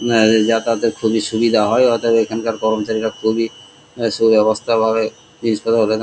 এদের যাতায়াত এর খুবই সুবিধা হয় অতয়েব এখানকার কর্মচারীরা খুবই সুব্যাবস্থা ভাবে জিনিস পত--